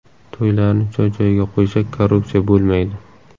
To‘ylarni joy-joyiga qo‘ysak, korrupsiya bo‘lmaydi.